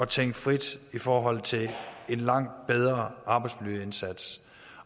tænke frit i forhold til en langt bedre arbejdsmiljøindsats